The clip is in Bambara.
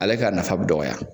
Ale ka nafa bɛ dɔgɔya